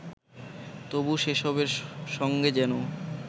তবু সেসবের সঙ্গে যেন